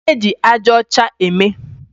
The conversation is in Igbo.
Kedu ihe eji aja ọcha eme?